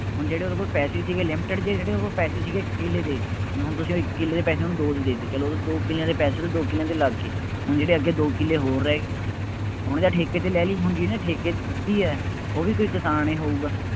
ਹੁਣ ਜਿਹੜੇ ਉਹਦੇ ਕੋਲ ਪੈਸੇ ਸੀਗੇ limited ਜਿਹੇ ਸੀਗੇ, ਉਹਦੇ ਕੋਲ ਪੈਸੇ ਸੀਗੇ ਇੱਕ ਕਿੱਲੇ ਦੇ, ਜੇ ਹੁਣ ਤੁਸੀਂ ਉਹ ਇੱਕ ਕਿੱਲੇ ਦੇ ਪੈਸੇ ਉਹਨੂੰ ਦੋ ਚ ਦੇ ਦਿੱਤੇ, ਚੱਲੋ ਉਹਦੇ ਦੋ ਕਿੱਲਿਆਂ ਦੇ ਪੈਸੇ ਤਾਂ ਦੋ ਕਿੱਲਿਆਂ ਦੇ ਲੱਗ ਗਏ, ਹੁਣ ਜਿਹੜੇ ਅੱਗੇ ਦੋ ਕਿੱਲੇ ਹੋਰ ਰਹਿ ਗਏ ਉਹਨੇ ਤਾਂ ਠੇਕੇ ਤੇ ਲੈ ਲਈ, ਹੁਣ ਜਿਹਨੇ ਠੇਕੇ ਤੇ ਦਿੱਤੀ ਹੈ, ਉਹ ਵੀ ਕਿਸਾਨ ਹੀ ਹੋਊਗਾ ।